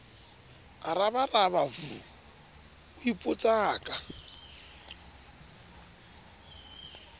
a rabaraba v o ipotsaka